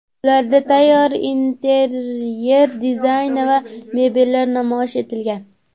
Ularda tayyor interyer dizayni va mebellar namoyish etilgan.